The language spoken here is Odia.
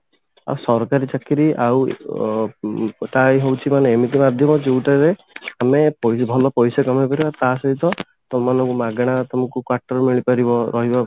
ଆଉ ସରକାରୀ ଚାକିରି ଆଉ ଅ ଉଁ ମାନେ ଏମିତି ବାଧିବ ଯଉଟାରେ ଆମେ ଭଲ ପଇସା କମେଇପାରିବା ତା ସହିତ ତମ ମାନଙ୍କୁ ମାଗଣା ତମକୁ quarter ମିଳିପାରିବ ରହିବା